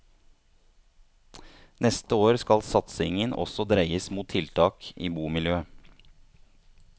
Neste år skal satsingen også dreies mot tiltak i bomiljøet.